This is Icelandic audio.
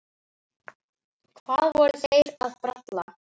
Hvað voru þeir að bralla?